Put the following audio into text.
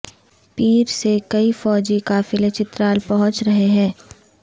پیر سے کئی فوجی قافلے چترال پہنچ رہے ہیں